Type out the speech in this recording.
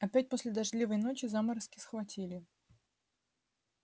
опять после дождливой ночи заморозки схватили